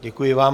Děkuji vám.